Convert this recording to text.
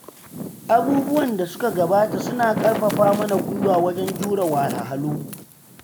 Abubuwan da suka gabata suna ƙarfafa mana gwiwa wajen jure wahalhalu.